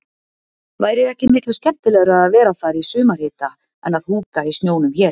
Væri ekki miklu skemmtilegra að vera þar í sumarhita en að húka í snjónum hér.